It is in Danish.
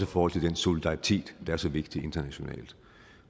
forhold til den solidaritet der er så vigtig internationalt